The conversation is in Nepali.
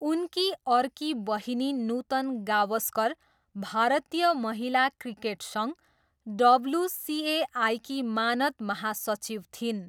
उनकी अर्की बहिनी नुतन गावस्कर भारतीय महिला क्रिकेट सङ्घ, डब्ल्युसिएआईकी मानद महासचिव थिइन्।